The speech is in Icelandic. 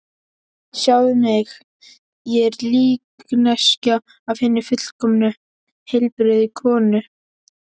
Sjáðu mig, ég er líkneskja af hinni fullkomnu, heilbrigðu konu.